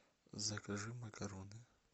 закажи макароны